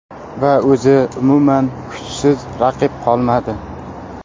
Va o‘zi umuman kuchsiz raqib qolmadi.